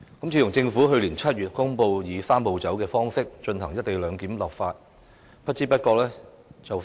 自從政府去年7月公布以"三步走"的方式就"一地兩檢"立法，不知不覺已快將1年。